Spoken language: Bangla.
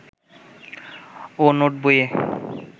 ও নোট বইয়ে